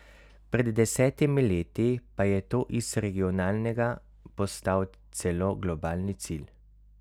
Pred desetimi leti pa je to iz regionalnega postal celo globalni cilj.